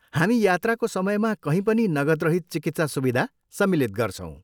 हामी यात्राको समयमा कहीँ पनि नगदरहित चिकित्सा सुविधा सम्मिलित गर्छौँ।